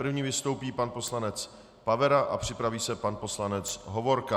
První vystoupí pan poslanec Pavera a připraví se pan poslanec Hovorka.